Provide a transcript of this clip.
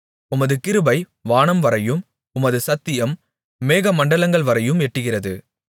உமது கிருபை வானம்வரையும் உமது சத்தியம் மேகமண்டலங்கள்வரையும் எட்டுகிறது